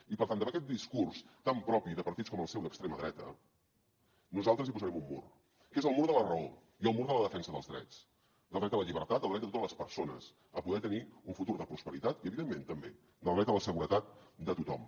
i per tant davant aquest discurs tan propi de partits com el seu d’extrema dreta nosaltres hi posarem un mur que és el mur de la raó i el mur de la defensa dels drets del dret a la llibertat del dret de totes les persones a poder tenir un futur de prosperitat i evidentment també del dret a la seguretat de tothom